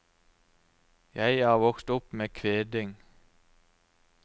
Jeg er vokst opp med kveding.